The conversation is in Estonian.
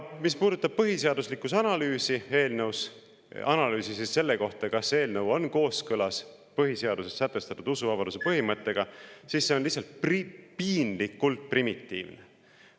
Mis puudutab põhiseaduslikkuse analüüsi, analüüsi selle kohta, kas eelnõu on kooskõlas põhiseaduses sätestatud usuvabaduse põhimõttega, siis see on lihtsalt piinlikult primitiivne.